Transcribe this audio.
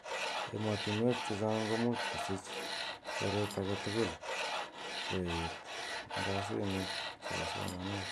Ematuenk che chang komut kosich koret ake tugul ko et ngasinik che bo somanet.